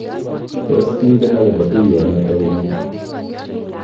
Tos kingen ne akobo tuiyonoto ung'aat?